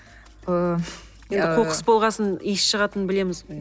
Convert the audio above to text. ыыы енді қоқыс болған соң иіс шығатынын білеміз ғой